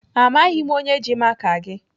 Amaghị m onye ji maka gị.